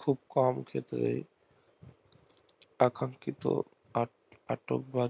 খুব কম ক্ষেত্রে